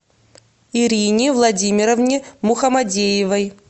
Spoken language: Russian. ирине владимировне мухамадеевой